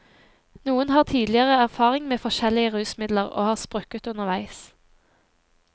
Noen har tidligere erfaring med forskjellige rusmidler, og har sprukket underveis.